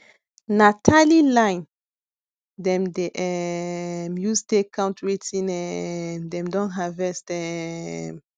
na tiny line dem dey um use take count wetin um dem don harvest um